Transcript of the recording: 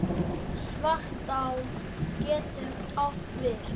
Svartá getur átt við